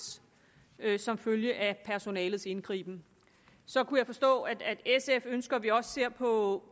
som følge af personalets indgriben så kunne jeg forstå at sf ønsker at vi også ser på